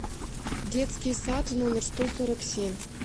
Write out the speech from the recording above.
детский сад номер сто сорок семь